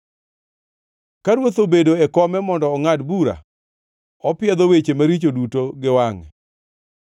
Ka ruoth obedo e kome mondo ongʼad bura; opiedho weche maricho duto gi wangʼe.